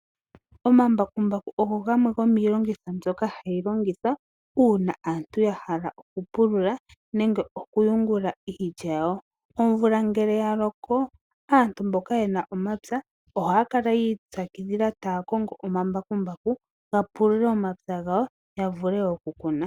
Omambakumbaku ogo gamwe gomiilongitho mbyoka hayi longithwa uuna aantu ya hala okupulula nenge okuyungula iilya yawo. Omvula ngele ya loko aantu mboka ye na omapya ohaya kala yi ipyakidhila taya kongo omambakumbaku ga pulule omapya gawo ya vule okukuna.